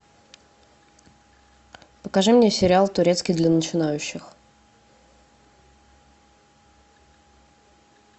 покажи мне сериал турецкий для начинающих